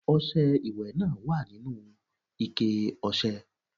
Ọṣẹ ìwẹ̀ náà wà nínú ikẹ ọṣẹ.